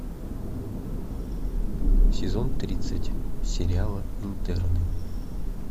сезон тридцать сериала интерны